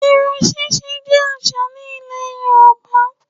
Irun ṣíṣe jẹ́ àṣà ní Ilẹ̀ Yorùbá